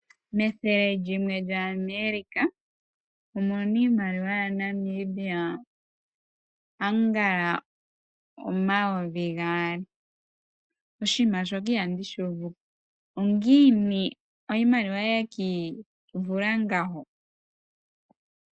Methele lyimwe lya Amerika omuna iimaliwa yaNamibia angala omayovi gaali, oshiima shoka iha ndi shuuvuko ongiini iimaliwa yekiivula ngawo.